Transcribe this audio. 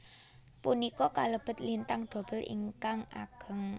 Punika kalebet lintang dobel ingkang ageng